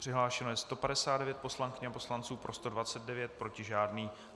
Přihlášeno je 159 poslankyň a poslanců, pro 129, proti žádný.